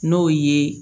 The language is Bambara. N'o ye